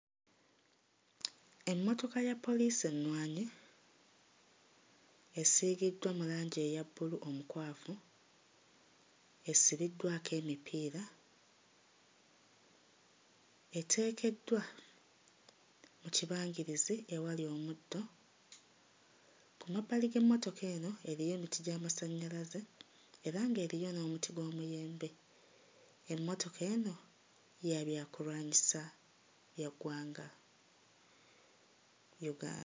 Emmotoka ya poliisi ennwanyi esiigiddwa mu langi eya bbulu omukwafu esibiddwako emipiira, eteekeddwa mu kibangirizi ewali omuddo. Ku mabbali g'emmotoka eno eriyo emiti gy'amasannyalaze era ng'eriyo n'omuti gw'omuyembe. Emmotoka eno ya byakulwanyisa bya ggwanga Uga...